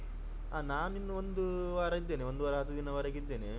ಹ ನಾನು ಇನ್ನು ಒಂದು ವಾರ ಇದ್ದೇನೆ ಒಂದು ವಾರ ಹತ್ತು ದಿನದವರೆಗೆ ಇದ್ದೇನೆ.